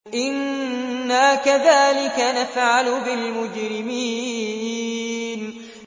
إِنَّا كَذَٰلِكَ نَفْعَلُ بِالْمُجْرِمِينَ